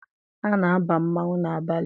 A na-aba mmanwụ n'abalị.